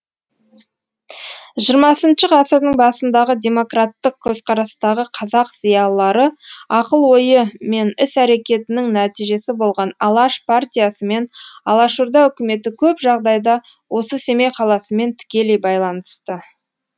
хх ғасырдың басындағы демократтық көзқарастағы қазақ зиялылары ақыл ойы мен іс әрекетінің нәтижесі болған алаш партиясы мен алашорда үкіметі көп жағдайда осы семей қаласымен тікелей байланысты